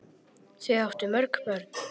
Þau áttu mörg börn.